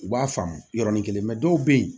U b'a faamu yɔrɔnin kelen dɔw bɛ yen